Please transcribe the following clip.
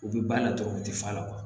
U bɛ ba la dɔrɔn u tɛ fa la